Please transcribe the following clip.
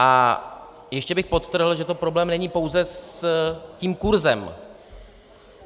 A ještě bych podtrhl, že to problém není pouze s tím kurzem.